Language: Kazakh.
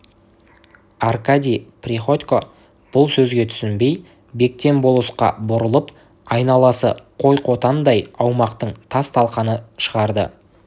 аркадий приходько бұл сөзге түсінбей бектен болысқа бұрылып айналасы қой қотанындай аумақтың тас-талқанын шығарды